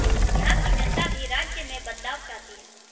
यहां की जनता भी राज्य में बदलाव चाहती है